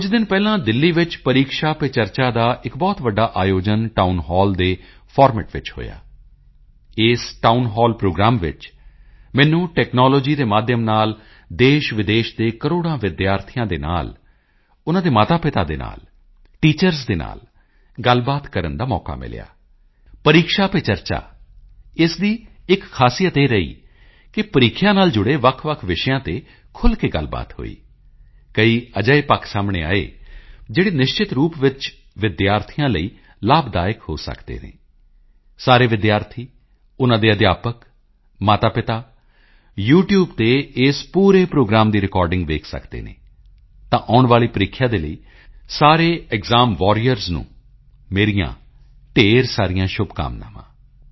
ਕੁਝ ਦਿਨ ਪਹਿਲਾਂ ਦਿੱਲੀ ਵਿੱਚ ਪਰੀਕਸ਼ਾ ਪੇ ਚਰਚਾ ਦਾ ਇੱਕ ਬਹੁਤ ਵੱਡਾ ਆਯੋਜਨ ਟਾਊਨ ਹਾਲ ਦੇ ਫਾਰਮੈਟ ਵਿੱਚ ਹੋਇਆ ਇਸ ਟਾਊਨ ਹਾਲ ਪ੍ਰੋਗਰਾਮ ਵਿੱਚ ਮੈਨੂੰ ਟੈਕਨਾਲੋਜੀ ਦੇ ਮਾਧਿਅਮ ਨਾਲ ਦੇਸ਼ਵਿਦੇਸ਼ ਦੇ ਕਰੋੜਾਂ ਸਟੂਡੈਂਟਸ ਦੇ ਨਾਲ ਉਨ੍ਹਾਂ ਦੇ ਮਾਤਾਪਿਤਾ ਦੇ ਨਾਲ ਟੀਚਰਜ਼ ਦੇ ਨਾਲ ਗੱਲਬਾਤ ਕਰਨ ਦਾ ਮੌਕਾ ਮਿਲਿਆ ਪਰੀਕਸ਼ਾ ਪੇ ਚਰਚਾ ਇਸ ਦੀ ਇੱਕ ਖਾਸੀਅਤ ਇਹ ਰਹੀ ਕਿ ਪ੍ਰੀਖਿਆ ਨਾਲ ਜੁੜੇ ਵੱਖਵੱਖ ਵਿਸ਼ਿਆਂ ਤੇ ਖੁੱਲ੍ਹ ਕੇ ਗੱਲਬਾਤ ਹੋਈ ਕਈ ਅਜਿਹੇ ਪੱਖ ਸਾਹਮਣੇ ਆਏ ਜਿਹੜੇ ਨਿਸ਼ਚਿਤ ਰੂਪ ਵਿੱਚ ਵਿਦਿਆਰਥੀਆਂ ਲਈ ਲਾਭਦਾਇਕ ਹੋ ਸਕਦੇ ਹਨ ਸਾਰੇ ਵਿਦਿਆਰਥੀ ਉਨ੍ਹਾਂ ਦੇ ਅਧਿਆਪਕ ਮਾਤਾਪਿਤਾ ਯੂਟਿਊਬ ਤੇ ਇਸ ਪੂਰੇ ਪ੍ਰੋਗਰਾਮ ਦੀ ਰਿਕਾਰਡਿੰਗ ਦੇਖ ਸਕਦੇ ਹਨ ਤਾਂ ਆਉਣ ਵਾਲੀ ਪ੍ਰੀਖਿਆ ਦੇ ਲਈ ਮੇਰੇ ਸਾਰੇ ਐਕਸਾਮ ਵਾਰੀਅਰਜ਼ ਨੂੰ ਢੇਰ ਸਾਰੀਆਂ ਸ਼ੁਭਕਾਮਨਾਵਾਂ